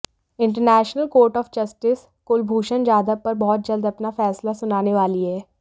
international court of justice Kulbhushan Jadhav पर बहुत जल्द अपना फैसला सुनाने वाली है